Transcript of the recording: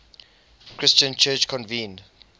christian church convened